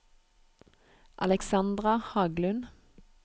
Alexandra Haglund